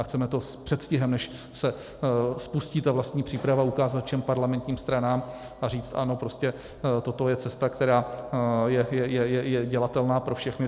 A chceme to s předstihem, než se spustí ta vlastní příprava, ukázat všem parlamentním stranám a říct ano, prostě toto je cesta, která je dělatelná pro všechny.